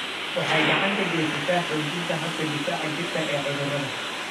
Waxay gacan ka geysataa xoojinta habka difaaca jirka ee cudurrada.